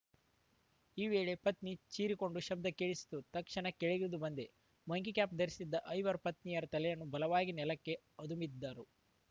ಈ ವೇಳೆ ಪತ್ನಿ ಚೀರಿಕೊಂಡ ಶಬ್ಧ ಕೇಳಿಸಿತು ತಕ್ಷಣ ಕೆಳಗಿಳಿದು ಬಂದೆ ಮಂಕಿ ಕ್ಯಾಂಪ್‌ ಧರಿಸಿದ್ದ ಐವರು ಪತ್ನಿಯ ತಲೆಯನ್ನು ಬಲವಾಗಿ ನೆಲಕ್ಕೆ ಅದುಮಿದ್ದರು